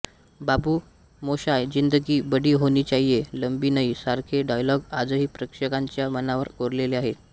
बाबू मोशाय ज़िंदगी बड़ी होनी चाहिए लंबी नहीं सारखे डायलॉग आजहि प्रेक्षकांच्या मनावर कोरलेले आहेत